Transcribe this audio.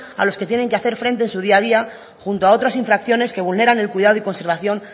a los que tienen que hacer frente en su día a día junto a otras infracciones que vulneran el cuidado y la conservación